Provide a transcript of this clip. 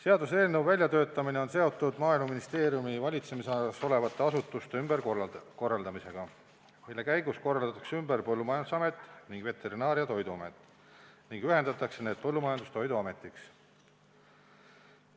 Seaduseelnõu väljatöötamine on seotud Maaeluministeeriumi valitsemisalas olevate asutuste ümberkorraldamisega, mille käigus korraldatakse ümber Põllumajandusamet ning Veterinaar- ja Toiduamet ning ühendatakse need Põllumajandus- ja Toiduametiks.